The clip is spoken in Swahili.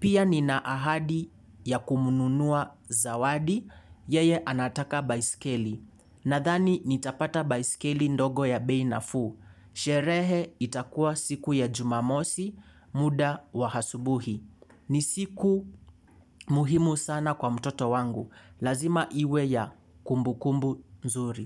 Pia ni na ahadi ya kumnunua zawadi, yeye anataka baiskeli. Nadhani nitapata baiskeli ndogo ya bei nafuu. Sherehe itakuwa siku ya jumamosi muda wa hasubuhi. Ni siku muhimu sana kwa mtoto wangu. Lazima iwe ya kumbukumbu nzuri.